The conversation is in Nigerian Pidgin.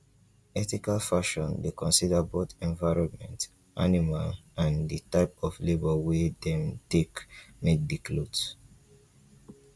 ethical fashion dey consider both environment animal and di type of labour wey dem take make di cloth